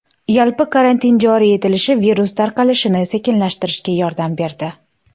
Yalpi karantin joriy etilishi virus tarqalishini sekinlashtirishga yordam berdi.